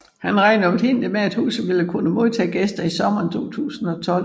Han regnede oprindeligt med at huset ville kunne modtage gæster i sommeren 2012